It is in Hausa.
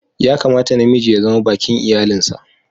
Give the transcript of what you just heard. Ya kamata na miji ya zama baki'n iyallin sa.